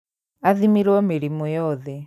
Athimirwo mĩrimũ yothe